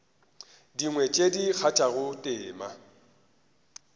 dingwe tše di kgathago tema